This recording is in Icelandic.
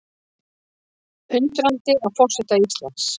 Undrandi á forseta Íslands